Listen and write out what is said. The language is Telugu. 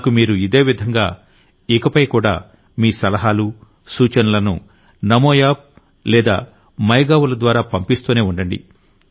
నాకు మీరు ఇదే విధంగా ఇకపై కూడా మీ సలహాలు సూచనలను నమో యాప్ మరియు మై గౌవ్ ల ద్వారా పంపిస్తూనే ఉండండి